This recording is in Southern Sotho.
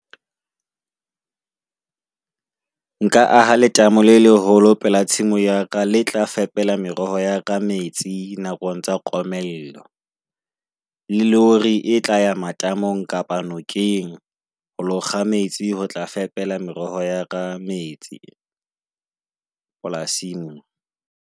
Nka aha letamo le leholo pela tshimo ya ka. Le tla fepela meroho ya ka metsi nakong tsa komello, le hore e tla ya matamong kapa nokeng. Ho lo kga metsi ho tla fepela meroho ya ka metsi polasing.